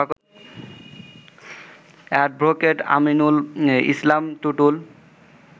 advocate Aminul Islam Tutul